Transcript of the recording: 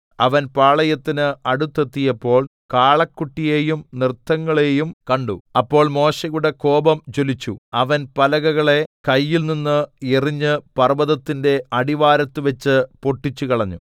അവൻ പാളയത്തിന് അടുത്തെത്തിയപ്പോൾ കാളക്കുട്ടിയെയും നൃത്തങ്ങളെയും കണ്ടു അപ്പോൾ മോശെയുടെ കോപം ജ്വലിച്ചു അവൻ പലകകളെ കയ്യിൽനിന്ന് എറിഞ്ഞ് പർവ്വതത്തിന്റെ അടിവാരത്തുവച്ച് പൊട്ടിച്ചുകളഞ്ഞു